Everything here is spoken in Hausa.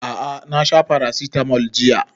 A'a na sha paracetamol jiya